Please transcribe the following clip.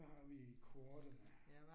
Hvad har vi i kortene?